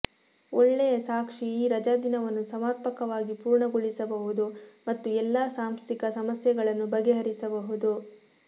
ಒಳ್ಳೆಯ ಸಾಕ್ಷಿ ಈ ರಜಾದಿನವನ್ನು ಸಮರ್ಪಕವಾಗಿ ಪೂರ್ಣಗೊಳಿಸಬಹುದು ಮತ್ತು ಎಲ್ಲಾ ಸಾಂಸ್ಥಿಕ ಸಮಸ್ಯೆಗಳನ್ನು ಬಗೆಹರಿಸಬಹುದು